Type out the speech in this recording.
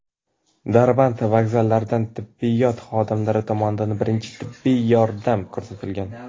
Darband vokzallaridan tibbiyot xodimlari tomonidan birinchi tibbiy yordam ko‘rsatilgan.